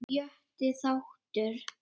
Sjötti þáttur